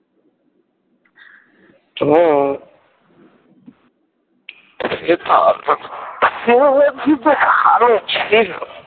হ্যাঁ